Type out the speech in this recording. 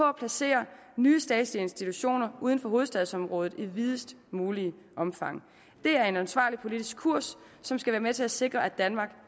at placere nye statslige institutioner uden for hovedstadsområdet i videst muligt omfang det er en ansvarlig politisk kurs som skal være med til at sikre at danmark